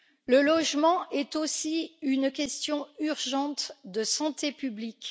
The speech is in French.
Le logement est aussi une question urgente de santé publique.